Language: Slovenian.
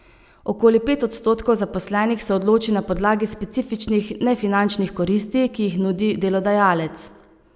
Okoli pet odstotkov zaposlenih se odloči na podlagi specifičnih nefinančnih koristi, ki jih nudi delodajalec.